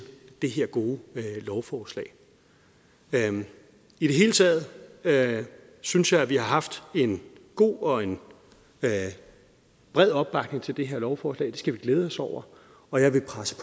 det her gode lovforslag i det hele taget taget synes jeg vi har haft en god og en bred opbakning til det her lovforslag det skal vi glæde os over og jeg vil presse